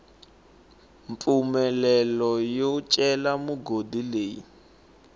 mpfumelelo yo cela migodi leyi